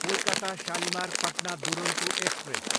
Kolkata Shalimar, Patna Duronto express